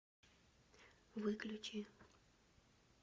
выключи